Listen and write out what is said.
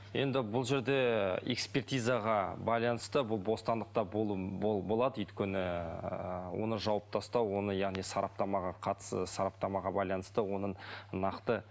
енді бұл жерде ы экспертизаға байланысты бұл бостандықта болады өйткені ыыы оны жауып тастау оны яғни сараптамаға қатысы сараптамаға байланысты оның нақты